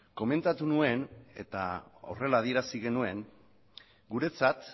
komentatu nuen eta horrela adierazi genuen guretzat